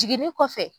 Jiginni kɔfɛ